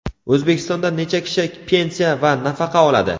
O‘zbekistonda necha kishi pensiya va nafaqa oladi?.